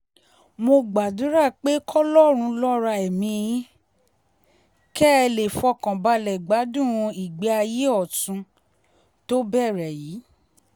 mo gbàdúrà pé kọlọ́run lọ́ra ẹ̀mí yín kẹ́ ẹ lè fọkàn balẹ̀ gbádùn ìgbé ayé ọ̀tún tó bẹ̀rẹ̀ yìí